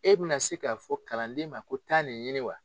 E bɛna se k'a fɔ kalanden ma ko taa nin ɲini wa